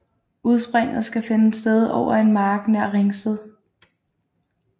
Udspringet skal finde sted over en mark nær Ringsted